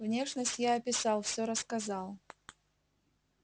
внешность я описал все рассказал